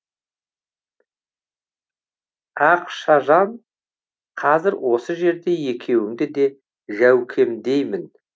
ақшажан қазір осы жерде екеуіңді де жәукемдеймін